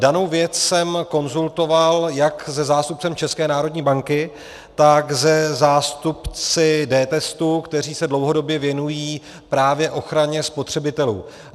Danou věc jsem konzultoval jak se zástupcem České národní banky, tak se zástupci dTestu, kteří se dlouhodobě věnují právě ochraně spotřebitelů.